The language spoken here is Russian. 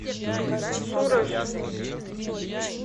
сураж